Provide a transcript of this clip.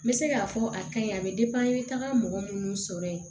N bɛ se k'a fɔ a kaɲi a bɛ n bɛ taga mɔgɔ minnu sɔrɔ yen